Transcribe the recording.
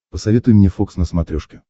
посоветуй мне фокс на смотрешке